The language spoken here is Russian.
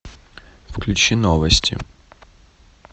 включи новости